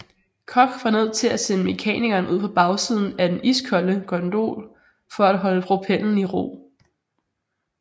Koch var nød til at sende mekanikeren ud på bagsiden af den iskolde gondol for at holde propellen i ro